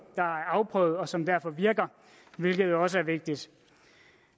der er afprøvet og som derfor virker hvilket jo også er vigtigt